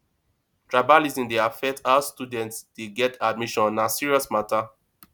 tribalism dey affect how students dey get admission na serious matter